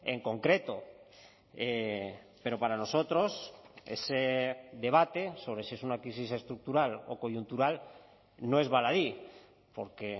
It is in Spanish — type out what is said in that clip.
en concreto pero para nosotros ese debate sobre si es una crisis estructural o coyuntural no es baladí porque